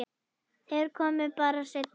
Þeir koma bara seinna.